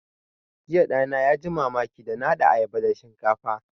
Jiya ɗana ya ji mamaki da na haɗa ayaba da shinkafa